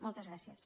moltes gràcies